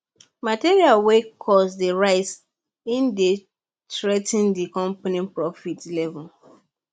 material wey cost dey rise e dey threa ten di company profit level